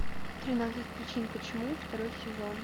тринадцать причин почему второй сезон